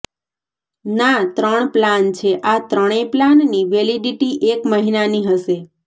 ના ત્રણ પ્લાન છે આ ત્રણેય પ્લાનની વેલિડિટી એક મહિનાની હશે